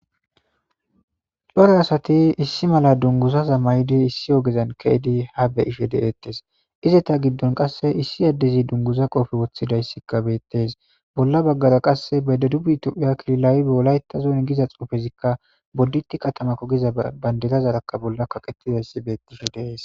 Cora asathi issi mala dunguzaza mayidi issi ogezan keyidi ha be7ishe deeeththes; izetha giddon qasse issi addezi dunguza qoofe woththidayssikka beeththes; bolla baggara qasse bedebub thophphiya kililawi be wolaytha zon giza xuufezikka boddithi katamakko giza banderazarakka bolla kaqethidayssi beththishe de7ees.